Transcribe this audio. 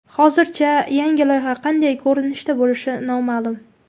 Hozircha yangi loyiha qanday ko‘rinishda bo‘lishi noma’lum.